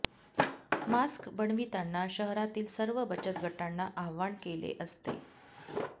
mask बनविताना शहरातील सर्व बचत गटांना आव्हान केले असते